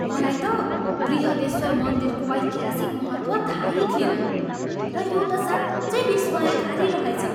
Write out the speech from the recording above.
मलाई त बृहदेश्वर मन्दिरको ऐतिहासिक महत्त्व थाहै थिएन र यो त साँच्चै विस्मयकारी रहेछ।